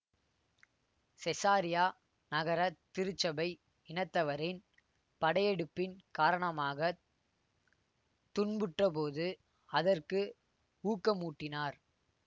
Caesarea நகர திருச்சபை இனத்தவரின் படையெடுப்பின் காரணமாக துன்புற்றபோது அதற்கு ஊக்கமூட்டினார்